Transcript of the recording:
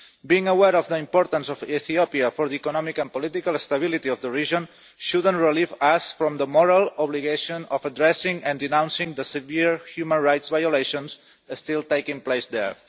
Being aware of the importance of Ethiopia for the economic and political stability of the region should not relieve us from the moral obligation of addressing and denouncing the severe human rights violations still taking place there.